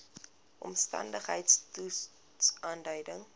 omstandigheids toets aandui